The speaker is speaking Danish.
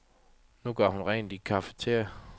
Nu gør hun rent i et cafeteria.